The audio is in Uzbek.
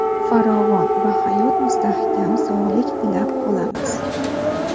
farovon hayot va mustahkam sog‘lik tilab qolamiz!.